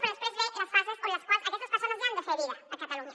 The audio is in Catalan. però després venen les fases en les quals aquestes persones ja han de fer vida a catalunya